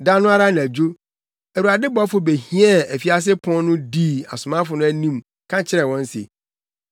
Da no ara anadwo, Awurade bɔfo behiɛɛ afiase apon no dii asomafo no anim ka kyerɛɛ wɔn se,